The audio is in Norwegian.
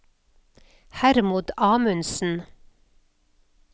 Hermod Amundsen